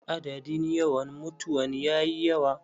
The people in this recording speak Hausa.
Adadin yawan mutawan yayi yawa.